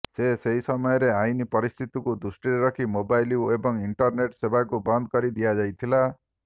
ସେ ସେହି ସମୟରେ ଆଇନ ପରିସ୍ଥିତିକୁ ଦୃଷ୍ଟିରେ ରଖି ମୋବାଇଲ ଏବଂ ଇଣ୍ଟରନେଟ ସେବାକୁ ବନ୍ଦ କରି ଦିଆଯାଇଥିଲା